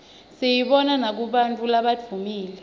siyibona nakubantfu labadvumile